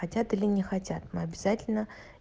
хотят или не хотят мы обязательно